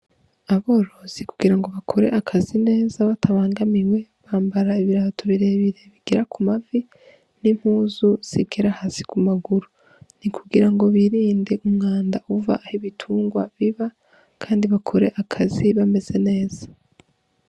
Aborozi kugira ngo bakore akazi batabangamiwe, bambara ibirato birebire bigera ku mavi n'impuzu zigera hasi ku maguru. Ni kugirango birinde umwanda uva aho ibitungwa biba kandi bakore akazi bameze neza.